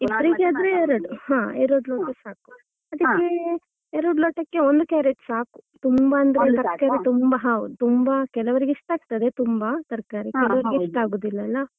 ಇಬ್ರಿಗೆ ಆದ್ರೆ ಎರಡು ಹಾ ಎರಡು ಲೋಟ ಸಾಕು ಅದಿಕ್ಕೆ ಎರಡು ಲೋಟಕ್ಕೆ ಒಂದು carrot ಸಾಕು ತುಂಬಾ ಅಂದ್ರೆ ತುಂಬಾ ಹಾ ತುಂಬಾ ಕೆಲವರಿಗೆ ಇಷ್ಟ ಆಗತ್ತೆ ತುಂಬಾ ತರ್ಕಾರಿ ಕೆಲವ್ರಿಗೆ ಇಷ್ಟ ಆಗುದಿಲ್ಲ ಅಲ್ಲ .